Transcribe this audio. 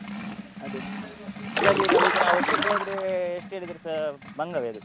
ಅದೇ, ಇಲ್ಲದಿದ್ರೆ ನಾವು ಒಬ್ರೋಬ್ರೆ ಹೋದ್ರೆ ಎಷ್ಟು ಹೇಳಿದ್ರೆಸಾ ಬಂಗ ವೆ ಅದು.